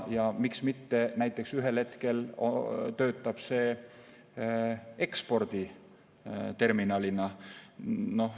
Ja miks mitte ei või see ühel hetkel töötada eksporditerminalina.